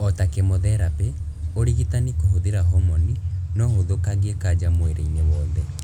Ota kemotherapi, ũrigitani kũhũthĩra homoni no ũthũkangie kanja mwĩrĩ-inĩ wothe